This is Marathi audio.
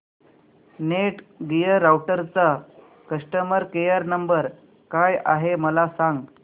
नेटगिअर राउटरचा कस्टमर केयर नंबर काय आहे मला सांग